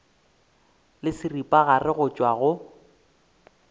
le seripagare go tšwa go